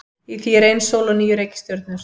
Í því er ein sól og níu reikistjörnur.